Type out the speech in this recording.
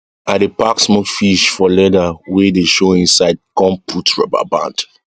i dey pack smoked fish for lether wey dey show inside com put rubber band